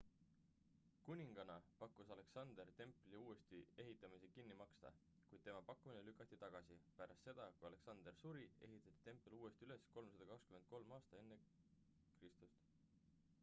kuningana pakkus alexander templi uuesti ehitamise kinni maksta kuid tema pakkumine lükati tagasi pärast seda kui alexander suri ehitati tempel uuesti üles 323 aastal ekr